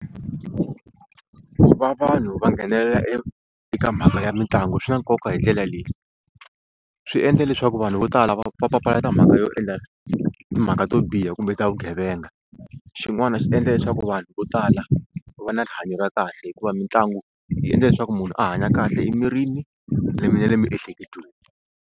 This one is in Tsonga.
Va vanhu va nghenelela e eka mhaka ya mitlangu swi na nkoka hi ndlela leyi swi endla leswaku vanhu vo tala va va papalata mhaka yo endla timhaka to yo biha kumbe ta vugevenga xin'wana xi endla leswaku vanhu vo tala va va na rihanyo ra kahle hikuva mitlangu yi endla leswaku munhu a hanya kahle emirini le mi na le miehleketweni.